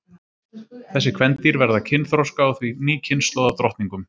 Þessi kvendýr verða kynþroska og því ný kynslóð af drottningum.